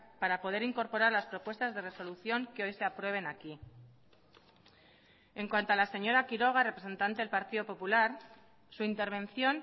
para poder incorporar las propuestas de resolución que hoy se aprueben aquí en cuanto a la señora quiroga representante del partido popular su intervención